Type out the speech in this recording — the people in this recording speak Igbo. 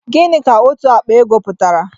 Gịnị ka òtù àkpà ego pụtara?